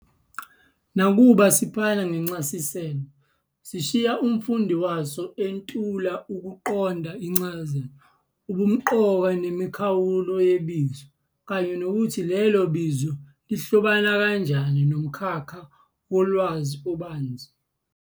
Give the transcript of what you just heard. Nakuba siphana ngencasiselo, sishiya umfundi waso entula ukuqonda incazelo, ubumqoka nemikhawulo yebizo, kanye nokuthi lelo bizo lihlobana kanjani nomkhakha wolwazi obanzi.